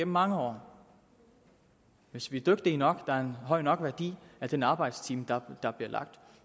mange år hvis vi er dygtige nok og der er en høj nok værdi af den arbejdstime der der bliver lagt